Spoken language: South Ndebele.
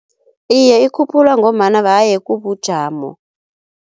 Iye ikhuphulwa ngombana haye kubujamo.